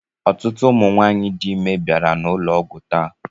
Ọtụtụ ụmụ nwaanyị dị ime bịara n'ụlọ ọgwụ taa.